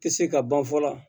Tɛ se ka ban fɔlɔ